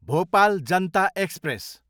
Bhopal Janata express